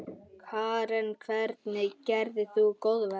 Karen: Hvernig gerðir þú góðverk?